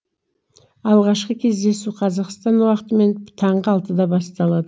алғашқы кездесу қазақстан уақытымен таңғы алтыда басталады